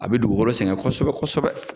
A bɛ dugugolo sɛgɛn kosɛbɛ kosɛbɛ.